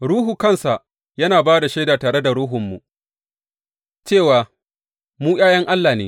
Ruhu kansa yana ba da shaida tare da ruhunmu cewa mu ’ya’yan Allah ne.